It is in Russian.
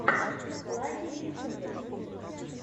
лаки в ютубе